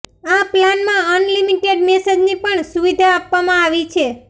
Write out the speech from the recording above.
આ પ્લાનમાં અનલિમિટેડ મેસેજની પણ સુવિધા આપવામાં આવી છે